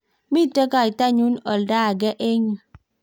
mito kaitanyin oldo age eng' yu